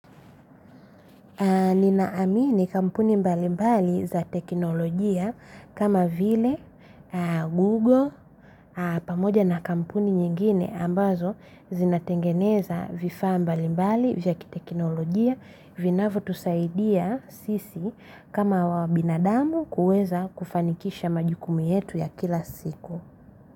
Ninaamini kampuni mbali mbali za teknolojia kama vile Google pamoja na kampuni nyingine ambazo zinatengeneza vifaa mbali mbali vya ki teknolojia vinavyo tusaidia sisi kama wa binadamu kueza kufanikisha majukumu yetu ya kila siku.